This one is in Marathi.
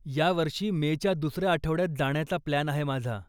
या वर्षी मेच्या दुसऱ्या आठवड्यात जाण्याचा प्लान आहे माझा.